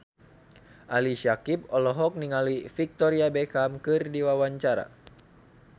Ali Syakieb olohok ningali Victoria Beckham keur diwawancara